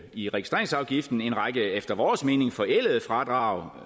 i registreringsafgiften efter vores mening forældede fradrag